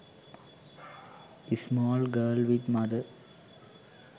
small girl with mother